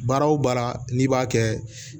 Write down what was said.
Baara o baara n'i b'a kɛ